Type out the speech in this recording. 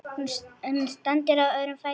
Hún stendur á öðrum fæti.